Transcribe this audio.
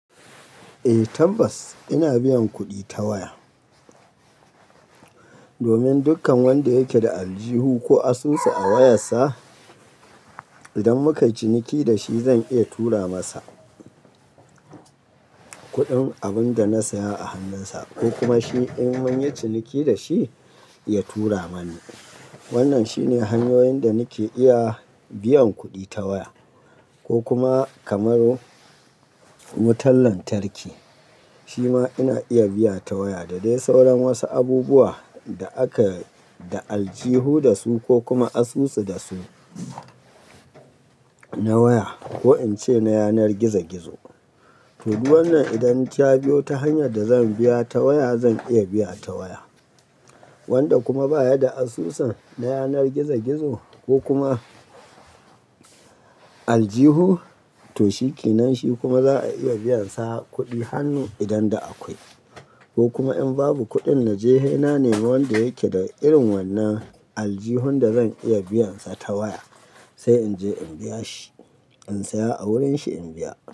Eh tabbas ina biyan kuɗi ta waya. Domin dukkan wanda yake da aljihu ko asusu a wayar sa, idan muka yi ciniki da shi zan iya tura masa kuɗin abin da na saya a hannunsa ko kuma shi in mun yi ciniki da shi, ya tura mani. Wannan shine hanyoyin da nake iya biyan kuɗi ta waya. Ko kuma kamar wutan lantarki, shi ma ina iya biya ta waya. Da dai sauran wasu abubuwa da aka da aljihu da su ko kuma asusu da su na waya ko in ce na yanar gizo gizo. To, wannan idan ta biyo ta hanyar da zan biya ta waya zan iya biya ta waya. Wanda kuma baya da asusun na yanar gizo gizo ko kuma aljihu, to shi kenan shi kuma za a iya biyansa kuɗi hannu idan da akwai. Ko kuma in babu kuɗin na je sai na nemi wanda yake da irin wannan aljihun da zan iya biyansa ta waya sai in je in biya shi, in saya a wurinshi in biya.